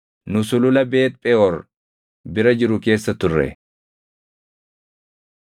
Nu sulula Beet Pheʼoor bira jiru keessa turre.